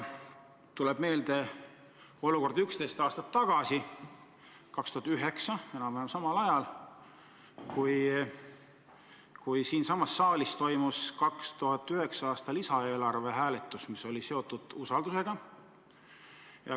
Tuleb meelde olukord 11 aastat tagasi, 2009 enam-vähem samal ajal, kui siinsamas saalis toimus 2009. aasta lisaeelarve hääletus, mis oli seotud usaldusega.